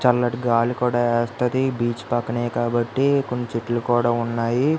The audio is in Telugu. చల్లటి గాలి కూడా వస్తది బీచ్ పక్కనే కాబ్బటి కొన్ని చెట్లు కూడా ఉన్నాయి .